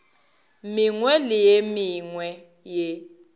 mengwe le ye mengwe ye